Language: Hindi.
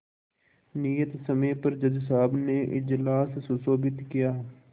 नियत समय पर जज साहब ने इजलास सुशोभित किया